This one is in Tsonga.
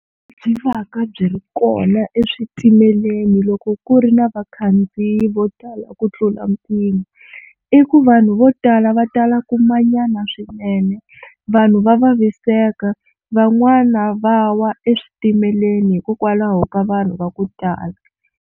Byi va ka byi ri kona eswitimeleni loko ku ri na vakhandziyi vo tala ku tlula mpimo, i ku vanhu vo tala va tala ku manyana swinene vanhu va vaviseka van'wana va wa eswitimeleni hikokwalaho ka vanhu va ku tala.